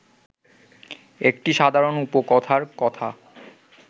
একটি সাধারণ উপকথার কথা